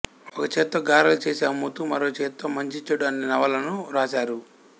ఒక చేత్తో గారెలు చేసి అమ్ముతూ మరో చేత్తో మంచిచెడు అనే నవలను వ్రాశారు